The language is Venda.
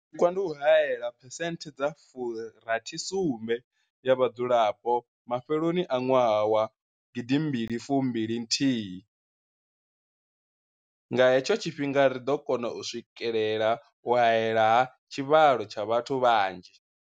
Tshipikwa ndi u haela phesenthe dza 67 ya vhadzulapo mafheloni a ṅwaha wa 2021. Nga he tsho tshifhinga ri ḓo kona u swikelela u haelwa ha tshivhalo tsha vhathu vhanzhi.